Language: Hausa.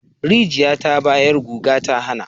Rijiya ta bayar guga ta hana